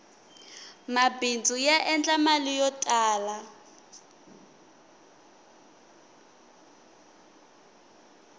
mabindzu ya endla mali yo tala